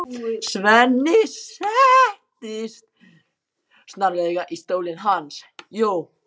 Svenni settist snarlega í stólinn hans.